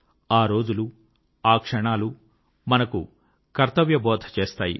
ఆరోజులు ఆ క్షణాలు మనకు కర్తవ్యబోధ చేస్తాయి